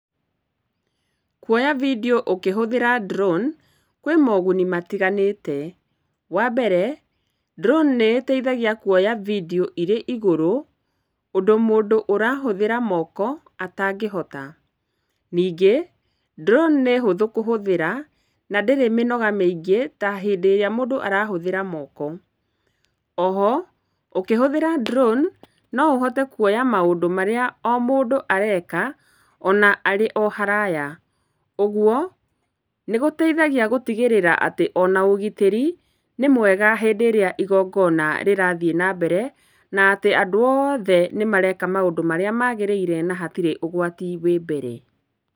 Kuoya video ũkĩhũthĩra drone kwĩ moguni matiganĩte, wambere, drone nĩ ĩteithagia kuoya video irĩ igũrũ ũndũ mũndũ ũrahũthĩra moko atangĩhota. Ningĩ, drone nĩ hũthũ kũhũthĩra na ndĩrĩ mĩnoga mĩingĩ ta hĩndĩ ĩrĩa mũndũ arahũthĩra moko. Oho, ũkĩhũthĩra drone, no ũhote kuoya maũndũ marĩa o mũndũ areka ona arĩ o haraya, ũgwo nĩgũteithagia gũtigĩrĩra atĩ ona ũgitĩri nĩ mwega hĩndĩ ĩrĩa igongona rĩrathiĩ nambere na atĩ andũ othe nĩmareka maũndũ marĩa magĩrĩire na hatirĩ ũgwati wĩ mbere.